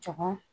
Jɔgo